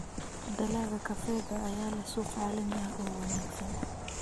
Dalagga kafeega ayaa leh suuq caalami ah oo wanaagsan.